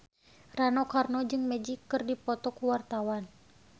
Rano Karno jeung Magic keur dipoto ku wartawan